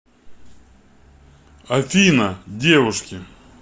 афина девушки